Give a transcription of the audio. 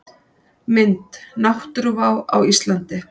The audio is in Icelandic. Mynd: Náttúruvá á Íslandi.